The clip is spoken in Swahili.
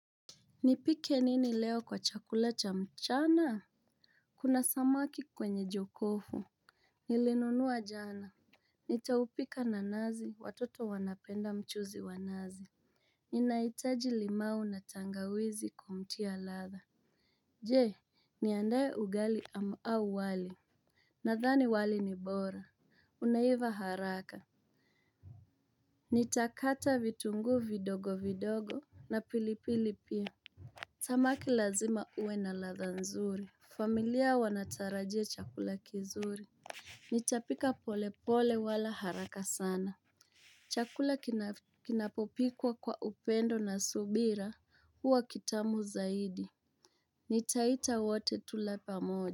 Nipike nini leo kwa chakula cha mchana? Kuna samaki kwenye jokofu. Nilinunua jana. Nitaupika na nazi. Watoto wanapenda mchuzi wa nazi. Ninaitaji limau na tangawizi kumtia ladha. Je niandae ugali au wali. Nathani wali ni bora. Unaiva haraka. Nitakata vitungu vidogo vidogo na pilipili pia. Samaki lazima ue na ladha nzuri. Familia wanatarajia chakula kizuri. Nitapika pole pole wala haraka sana. Chakula kinapopikwa kwa upendo na subira huwa kitamu zaidi. Nitaita wote tule pamoja.